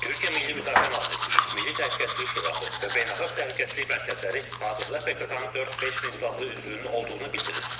Türkiyə Milli Müdafiə Nazirliyi, Milli Təhlükəsizlik Şurası və Beynəlxalq Təhlükəsizlik mərkəzləri hazırda PKK-nın 4-5 min silahlı üzvünün olduğunu bildirir.